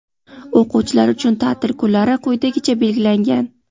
o‘quvchilar uchun ta’til kunlari quyidagicha belgilangan:.